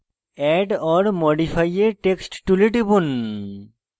add or modify a text tool টিপুন